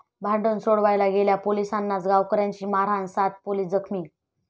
भांडण सोडवायला गेलेल्या पोलिसांनाच गावकऱ्यांची मारहाण, सात पोलीस जखमी